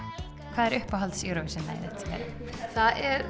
hvað er uppáhalds Eurovision lagið þitt það er